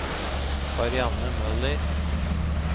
Karianne Møller